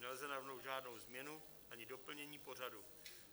Nelze navrhnout žádnou změnu ani doplnění pořadu.